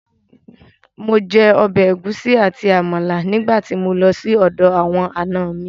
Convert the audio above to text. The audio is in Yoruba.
Mo jẹ ọbẹ̀ ẹ̀gúsí àti Àmàlà nígbà tí mo lọ sí ọ̀dọ̀ àwọn ànọ mi